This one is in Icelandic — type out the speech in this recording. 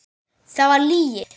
Það var lygi.